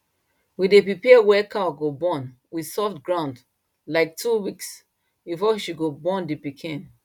we day prepare where cow go born with soft ground like two weeks before she go born the piken